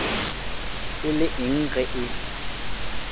e le eng ge e